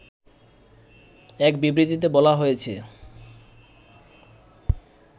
এক বিবৃতিতে বলা হয়েছে